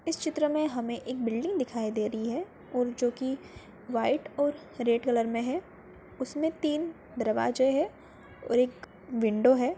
इस चित्र में हमें एक बिल्डिंग दिखाई दे रही है और जो कि व्हाइट और रेड कलर में है उसमे तीन दरवाज़े है और एक विंडो है।